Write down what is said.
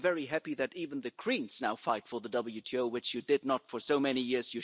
I'm very happy that even the Greens now fight for the WTO, which you did not for so many years